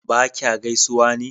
ba kya gaisuwa ne?